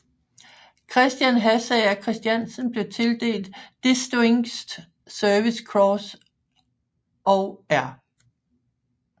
Christian Hassager Christiansen blev tildelt Distinguished Service Cross og R